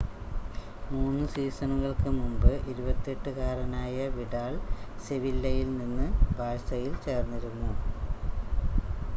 3 സീസണുകൾക്ക് മുമ്പ് 28 കാരനായ വിഡാൽ സെവില്ലയിൽ നിന്ന് ബാഴ്സയിൽ ചേർന്നിരുന്നു